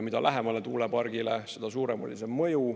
Mida lähemale tuulepargile, seda suurem oli see mõju.